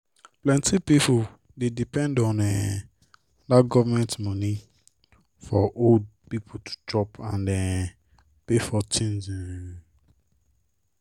plenty pipo dey depend on um dat government money for old people to chop and um pay for tins. um